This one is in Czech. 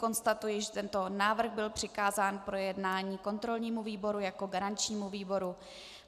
Konstatuji, že tento návrh byl přikázán k projednání kontrolnímu výboru jako garančnímu výboru.